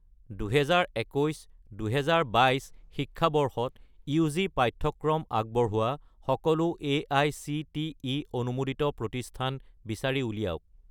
2021 - 2022 শিক্ষাবৰ্ষত ইউ.জি. পাঠ্যক্ৰম আগবঢ়োৱা সকলো এআইচিটিই অনুমোদিত প্ৰতিষ্ঠান বিচাৰি উলিয়াওক